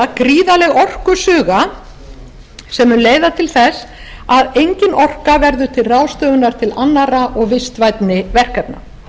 gríðarleg orkusuga sem mun leiða til þess að engin orka verður til ráðstöfunar til annarra og vistvænni verkefna